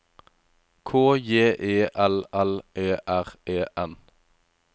K J E L L E R E N